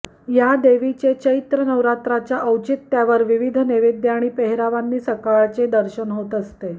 या देवीचे चैत्र नवरात्राच्या औचित्यावर विविध नैवेद्य आणि पेहेरावांनी सकाळचे दर्शन होत असते